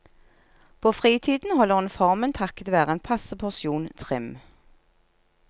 På fritiden holder hun formen takket være en passe porsjon trim.